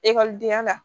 Ekɔlidenya la